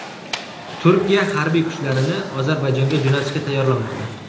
Turkiya harbiy kuchlarini Ozarbayjonga jo‘natishga tayyorlanmoqda.